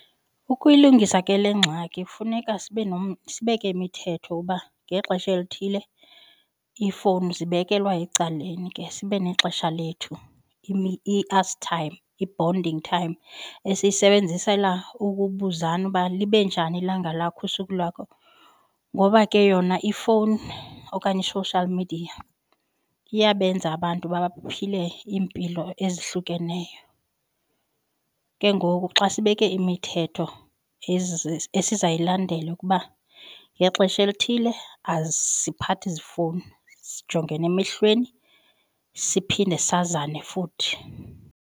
Ukuyilungisa ke le ngxaki funeka sibeke imithetho uba ngexesha elithile iifowuni zibekelwa ecaleni ke sibe nexesha lethu i-us time, i-bonding time esiyisebenzisela ukubuzana uba libe njani ilanga lakho, usuku lwakho ngoba ke yona ifowuni okanye i-social media iyabenza abantu baphile iimpilo ezihlukeneyo. Ke ngoku xa sibeke imithetho esizayilandela ukuba ngexesha elithile asiphathi ziifowuni sijongene emehlweni siphinde sazane futhi.